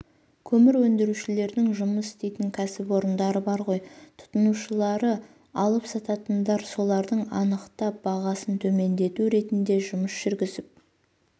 көмір өндірушілердің жұмыс істейтін кәсіпорындары бар ғой тұтынушылары алып сататындар соларды анықтап бағасын төмендету ретіндежұмыс жүргізіп